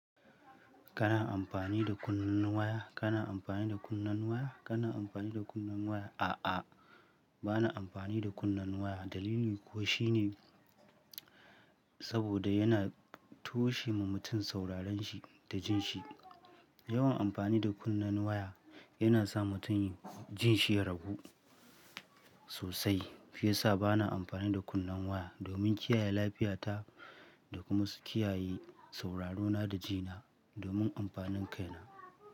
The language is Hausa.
Kana amfani da kunnen waya? Kana amfani da kunnen waya? Kana amfani da kunnen waya? A'a, ba na amfani da kunnen waya. Dalili kuwa shine saboda yana toshe ma mutum sauraren shi da jin shi. Yawan amfani da kunnen waya yana sa mutum jin shi ya ragu sosai. Fiye sa ba na amfani da kunnen waya domin kiyaye lafiyata da kuma su kiyaye sauraro na da jina domin amfanin kaina.